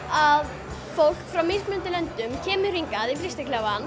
að fólk frá mismunandi löndum kemur hingað í